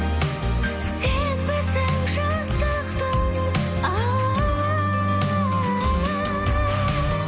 сенбісің жастықтың алауы